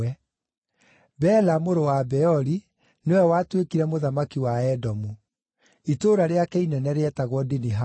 Bela mũrũ wa Beori nĩwe watuĩkire mũthamaki wa Edomu. Itũũra rĩake inene rĩetagwo Dinihaba.